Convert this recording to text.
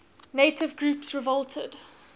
native groups revolted